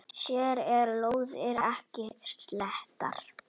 Hér eru lóðir ekki seldar.